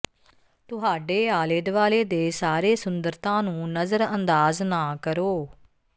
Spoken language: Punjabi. ਤੁਹਾਡੇ ਆਲੇ ਦੁਆਲੇ ਦੇ ਸਾਰੇ ਸੁੰਦਰਤਾ ਨੂੰ ਨਜ਼ਰਅੰਦਾਜ਼ ਨਾ ਕਰੋ